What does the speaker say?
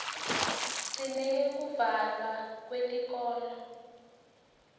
sineyekuvalwa kwetikolo